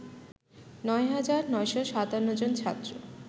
নয় হাজার ৯৫৭ জন ছাত্র